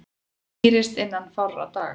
Skýrist innan fárra daga